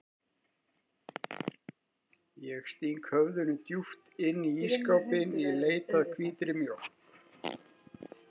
Ég sting höfðinu djúpt inn í ísskápinn í leit að hvítri mjólk.